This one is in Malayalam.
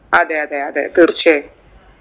അതെ അതെ അതെ തീർച്ചയായും